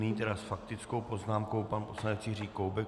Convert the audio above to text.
Nyní tedy s faktickou poznámkou pan poslanec Jiří Koubek.